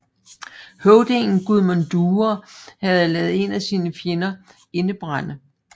Høvdingen Gudmund Dyre havde ladet en af sine fjender indebrænde